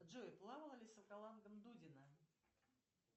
джой плавала ли с аквалангом дудина